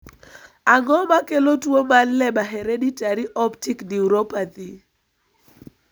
Ang'o makelo tuo mar Leber hereditary optic neuropathy (LHON)?